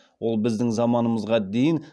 ол біздің заманымызға дейін